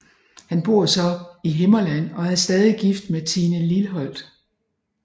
Han bor så i Himmerland og er stadig gift med Tine Lilholt